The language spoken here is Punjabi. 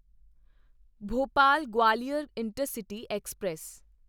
Bhopal Gwalior intercity express